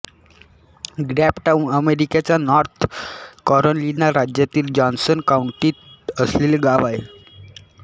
Grabtown अमेरिकेच्या North Carolina राज्यातील Johnson काउंटीत असलेले गाव आहे